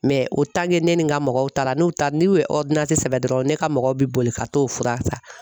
o ne ni n ka mɔgɔw taara n'u taara n'u ye sɛbɛn dɔrɔn ne ka mɔgɔw bɛ boli ka t'o fura san.